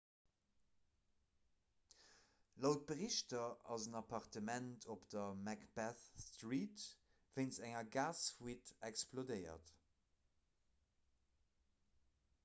laut berichter ass en appartement op der macbeth street wéinst enger gasfuite explodéiert